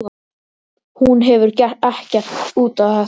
Hún gefur ekkert út á þetta.